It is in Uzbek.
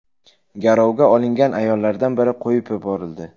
Garovga olingan ayollardan biri qo‘yib yuborildi.